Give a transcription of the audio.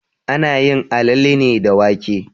Ana yin alale ne da wake.